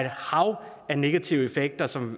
hav af negative effekter som